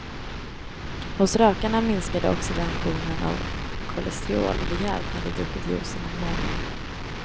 Hos rökarna minskade oxidationen av kolesterol rejält när de druckit juicen en månad.